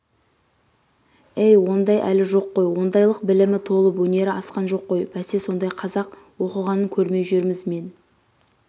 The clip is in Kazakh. әй ондай әлі жоққой ондайлықбілімі толып өнері асқан жоққой бәсе сондай қазақ оқығанын көрмей жүрміз мен